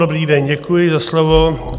Dobrý den, děkuji za slovo.